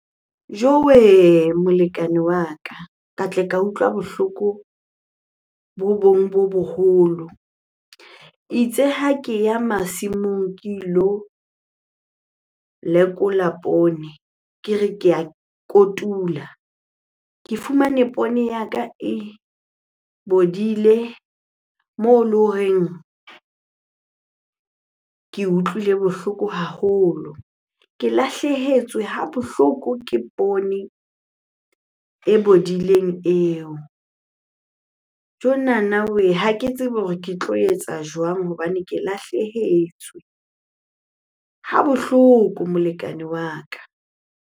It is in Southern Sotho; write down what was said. Jowe! Molekane wa ka, ka tle ka utlwa bohloko bo bong bo boholo. Itse ha ke ya masimong ke ilo lekola poone, ke re ke a kotula. Ke fumane poone ya ka e bodile moo le horeng ke utlwile bohloko haholo. Ke lahlehetswe ha bohloko ke poone e bodileng eo. Jonana wee! Ha ke tsebe hore ke tlo etsa jwang hobane ke lahlehetswe ha bohloko molekane wa ka.